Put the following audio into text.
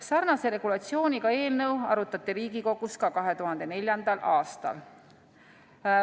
Sarnase regulatsiooniga eelnõu arutati Riigikogus ka 2004. aastal.